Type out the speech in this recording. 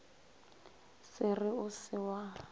se re o se wa